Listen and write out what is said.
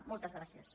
moltes gràcies